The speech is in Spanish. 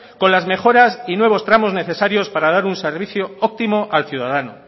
con las mejoras y nuevos tramos necesarios para dar un servicio óptimo al ciudadano